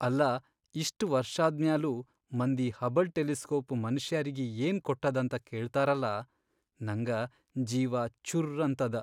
ಅಲ್ಲಾ ಇಷ್ಟ್ ವರ್ಷಾದ್ಮ್ಯಾಲೂ, ಮಂದಿ ಹಬಲ್ ಟೆಲಿಸ್ಕೋಪ್ ಮನಷ್ಯಾರಿಗಿ ಏನ್ ಕೊಟ್ಟದಂತ ಕೇಳ್ತಾರಲಾ ನಂಗ ಜೀವಾ ಚುರ್ರ್ ಅಂತದ.